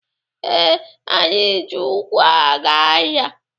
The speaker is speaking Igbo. Ee, anyị ji ụkwụ aga ahịa.